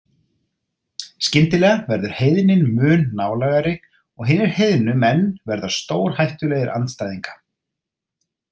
Skyndilega verður heiðnin mun nálægari og hinir heiðnu menn verða stórhættulegir andstæðinga.